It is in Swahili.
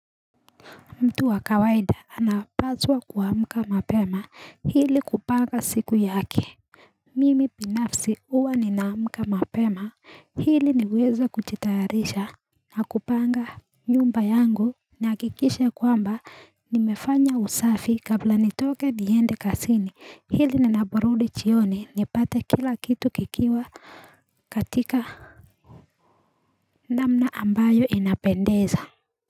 Mtu wa kawaida anapazwa kuamka mapema hili kupanga siku yake Mimi pinafsi uwa ninaamka mapema hili niweza kuchitayarisha Nakupanga nyumba yangu na kikishe kwamba nimefanya usafi kabla nitoke diende kasini hili nina burudi chioni nipate kila kitu kikiwa katika namna ambayo inapendeza.